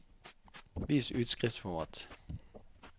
Vis utskriftsformat